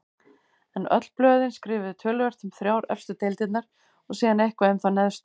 En öll blöðin skrifuðu töluvert um þrjár efstu deildirnar og síðan eitthvað um þá neðstu.